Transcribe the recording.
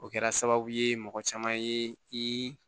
O kɛra sababu ye mɔgɔ caman ye i